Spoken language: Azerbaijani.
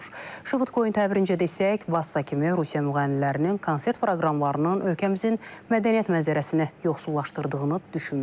Şvıdkoyun təbirincə desək, Vassa kimi Rusiya müğənnilərinin konsert proqramlarının ölkəmizin mədəniyyət mənzərəsini yoxsullaşdırdığını düşünmürük,